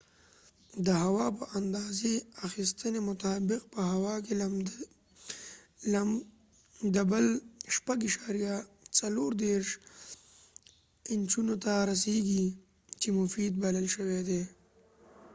د هوا په د اندازی اخیستنی مطابق په هوا کې لمدبل 6.34 انچونو ته رسیږی چې مفید بلل شوي دي